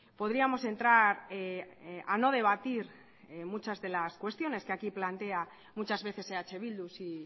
podríamos entrar a no debatir muchas de las cuestiones que aquí plantea muchas veces eh bildu si